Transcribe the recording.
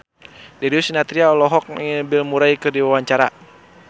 Darius Sinathrya olohok ningali Bill Murray keur diwawancara